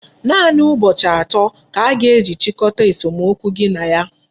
Naanị ụbọchị atọ ka a ga-eji chịkọta esomokwu gị na ya.